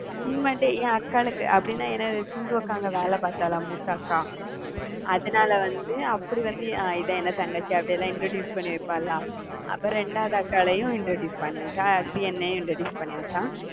உண்மையிலே என் அக்காளுக்கு அப்படின்னா ஏன்னா சிந்து அக்கா அங்க வேலை பார்த்தால, மூத்த அக்கா அதனால வந்து அப்படி வந்து அஹ் இதான் என் தங்கச்சி அப்படியெல்லாம் introduce பண்ணி வைப்பாளா? அப்பறம் ரெண்டாவது அக்காளையும் introduce பண்ணி வெச்சா அடுத்து என்னையும் introduce பண்ணி வெச்சா